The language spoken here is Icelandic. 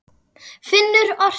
Finnur orti.